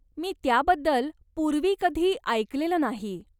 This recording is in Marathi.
मी त्याबद्दल पूर्वी कधी ऐकलेलं नाही.